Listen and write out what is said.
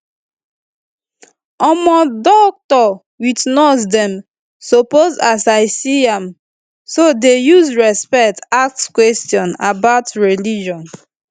omo doc with nurse dem suppose as i see am so dey use respect ask question about religion